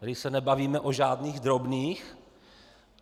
Tady se nebavíme o žádných drobných.